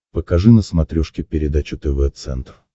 покажи на смотрешке передачу тв центр